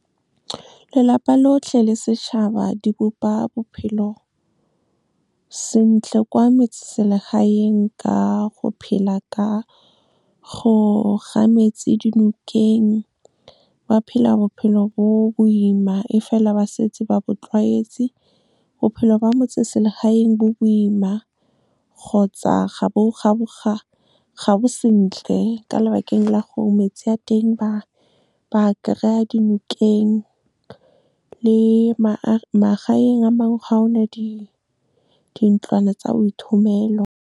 Lelapa lotlhe le setšhaba, di bopa bophelo sentle kwa metseselegaeng ka go phela ka go ga metsi dinokeng, ba phela bophelo bo boima, e fela ba setse ba bo tlwaetse. Bophelo ba motseselegaeng bo boima kgotsa ga bo sentle, ka lebakeng la gore metsi a teng ba kry-a dinokeng. Le magaeng a mangwe, ga one dintlwana tsa boithomelo. Lelapa lotlhe le setšhaba, di bopa bophelo sentle kwa metseselegaeng ka go phela ka go ga metsi dinokeng, ba phela bophelo bo boima, e fela ba setse ba bo tlwaetse. Bophelo ba motseselegaeng bo boima kgotsa ga bo sentle, ka lebakeng la gore metsi a teng ba kry-a dinokeng. Le magaeng a mangwe, ga one dintlwana tsa boithomelo.